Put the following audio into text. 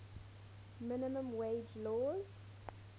minimum wage laws